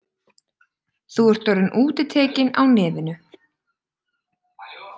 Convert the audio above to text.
Þú ert orðinn útitekinn á nefinu.